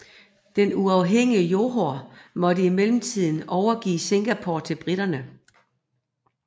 Det uafhængige Johor måtte i mellemtiden overgive Singapore til briterne